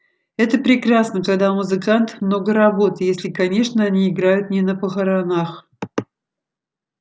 это прекрасно когда у музыкантов много работы если конечно они играют не на похоронах